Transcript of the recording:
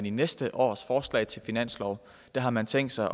i næste års forslag til finanslov har man tænkt sig at